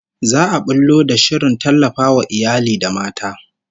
Za'a bullo da shirin tallafawa iyali da mata